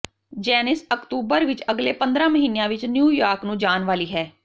ਜੈਨੀਸ ਅਕਤੂਬਰ ਵਿਚ ਅਗਲੇ ਪੰਦਰਾਂ ਮਹੀਨਿਆਂ ਵਿਚ ਨਿਊ ਯਾਰਕ ਨੂੰ ਜਾਣ ਵਾਲੀ ਹੈ